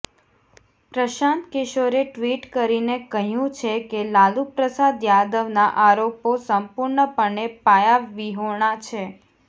પ્રશાંત કિશોરે ટ્વિટ કરીને કહ્યુ છે કે લાલુપ્રસાદ યાદવના આરોપો સંપૂર્ણપણે પાયાવિહોણા છે